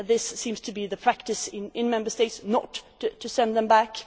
This seems to be the practice in Member States, not to send them back.